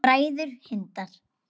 Bræður Hindar